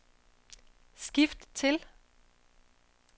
skift til